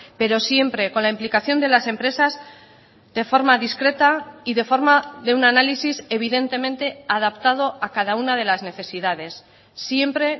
pero siempre con la implicación de las empresas de forma discreta y de forma de un análisis evidentemente adaptado a cada una de las necesidades siempre